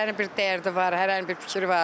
Hərənin bir dərdi var, hərənin bir fikri var.